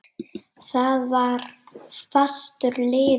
Það var fastur liður.